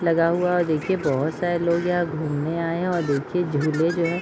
लगा हुआ है और देखिए बहुत सारे लोग यहाँ घूमने आए हैं और देखिये झूले जो है --